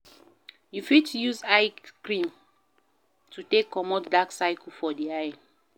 You fit use eye cream to take comot dark circle for di eye